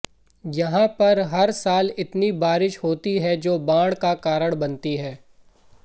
यहां पर हर साल इतनी बारिश होती है जो बाढ़ का कारण बनती है